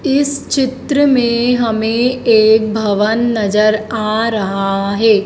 इस चित्र में हमें एक भवन नजर आ रहा है।